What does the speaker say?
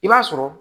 I b'a sɔrɔ